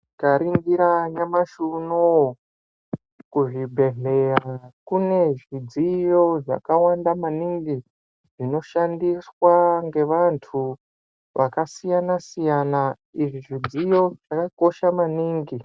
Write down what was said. Tikaningira nyamashi unou kuzvibhedhlera kune zvidziyo zvakawanda maningi zvinoshandiswa ngevantu vakasiyana siyana. Izvi zvidziyo zvakakosha maningi.